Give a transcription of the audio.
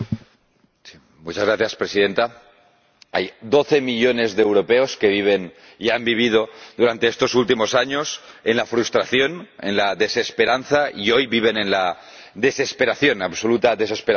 Señora Presidenta, hay doce millones de europeos que viven y han vivido durante estos últimos años en la frustración, en la desesperanza, y hoy viven en la desesperación, absoluta desesperación.